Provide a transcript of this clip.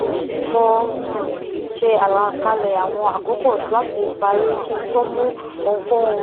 um mo um ṣe àlàkalẹ àwọn àkókò láti parí kí n tó mú ohunkóhun